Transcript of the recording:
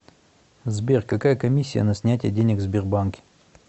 сбер какая комиссия на снятие денег в сбербанке